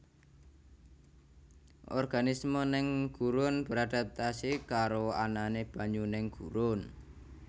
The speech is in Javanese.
Organisme neng gurun beradaptasi karo anane banyu neng gurun